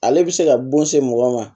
Ale bɛ se ka bon se mɔgɔ ma